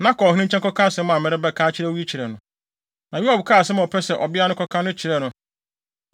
Na kɔ ɔhene nkyɛn kɔka asɛm a merebɛka akyerɛ wo yi kyerɛ no.” Na Yoab kaa asɛm a ɔpɛ sɛ ɔbea no kɔka no kyerɛɛ no.